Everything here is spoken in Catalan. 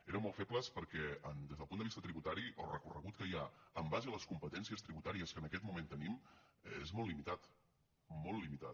eren molt febles perquè des del punt de vista tributari el recorregut que hi ha en base a les competències tributàries que en aquest moment tenim és molt limitat molt limitat